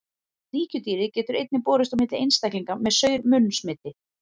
Sníkjudýrið getur einnig borist á milli einstaklinga með saur-munn smiti.